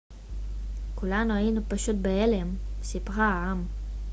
כולנו היינו פשוט בהלם סיפרה האם